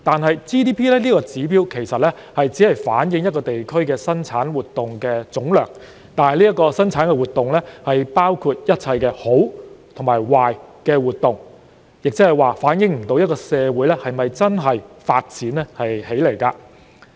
然而 ，GDP 這個指標其實只反映一個地區的生產活動總量，但這些生產活動包含一切好和壞的活動，即無法反映一個社會是否真的發展起來。